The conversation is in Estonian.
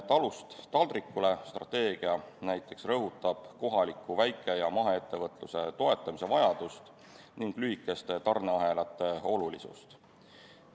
"Talust taldrikule" strateegia rõhutab näiteks kohaliku väike- ja maheettevõtluse toetamise vajadust ning lühikeste tarneahelate olulisust.